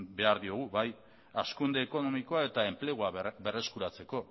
behar diogu bai hazkunde ekonomikoa eta enplegua berreskuratzeko